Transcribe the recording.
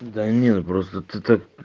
да нет просто ты так